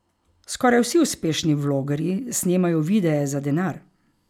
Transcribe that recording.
Skoraj vsi uspešni vlogerji snemajo videe za denar.